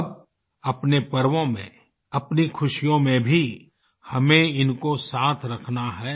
अब अपने पर्वों में अपनी खुशियों में भी हमें इनको साथ रखना है